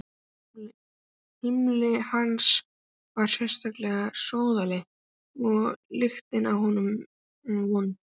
Heimili hans var sérlega sóðalegt og lyktin af honum vond.